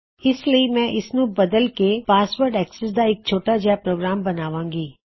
ਇਸ ਲਈ ਮੈਂ ਇਸ ਨੂੰ ਥੋੜਾ ਬਦਲ ਕੇ ਪਾਸਵਰਡ ਅਕਸੈਸ ਦਾ ਇੱਕ ਛੋਟਾ ਜਿਹਾ ਪ੍ਰੋਗਰਾਮ ਬਣਾਵਾਂ ਗੀ